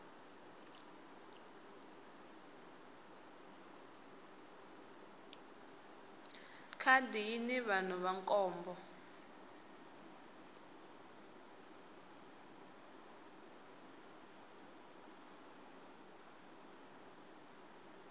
khadi yini vanhu va nkombo